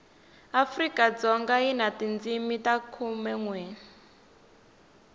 afrikadzoga yi na tindzimi ta khumenwe